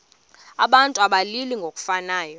abantu abalili ngokufanayo